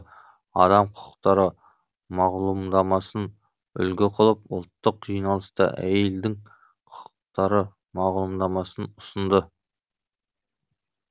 адам құқықтары мағлумдамасын үлгі қылып ұлттық жиналыста әйелдің құқықтары мағлұмдамасын ұсынды